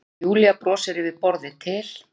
Og Júlía brosir yfir borðið til